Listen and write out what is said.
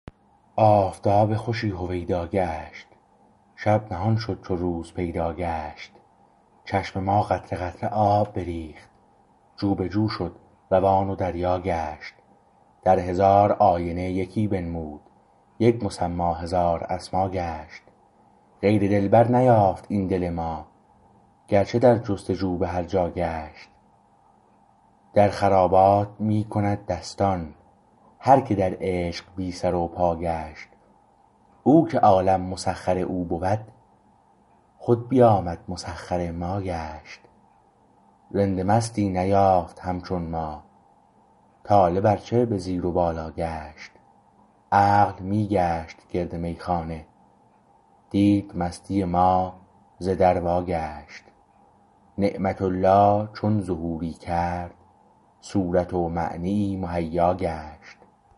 آفتاب خوشی هویدا گشت شب نهان شد چو روز پیدا گشت چشم ما قطره قطره آب بریخت جو به جو شد روان و دریا گشت در هزار آینه یکی بنمود یک مسمی هزار اسما گشت غیر دلبر نیافت این دل ما گرچه در جستجو به هرجا گشت در خرابات می کند دستان هرکه در عشق بی سر و پا گشت او که عالم مسخر او بود خود بیامد مسخر ما گشت رند مستی نیافت همچون ما طالب ارچه به زیر و بالا گشت عقل می گشت گرد میخانه دید مستی ما ز در واگشت نعمت الله چون ظهوری کرد صورت و معنیی مهیا گشت